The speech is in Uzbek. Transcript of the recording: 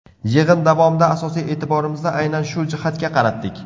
Yig‘in davomida asosiy e’tiborimizni aynan shu jihatga qaratdik.